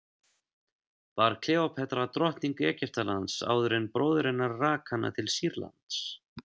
var kleópatra drottning egyptalands áður en bróðir hennar rak hana til sýrlands